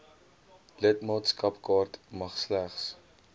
lidmaatskapkaart mag slegs